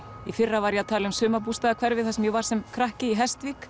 í fyrra var ég að tala um sumarbústaðahverfi þar sem ég var sem krakki í